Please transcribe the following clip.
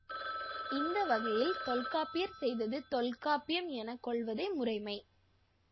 இந்த வகையில் தொல்காப்பியர் செய்தது தொல்காப்பிம் என கொள்வதே முறைமை